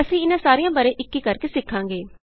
ਅਸੀਂ ਇਹਨਾ ਸਾਰਿਆਂ ਬਾਰੇ ਇਕ ਇਕ ਕਰਕੇ ਸਿੱਖਾਂਗੇ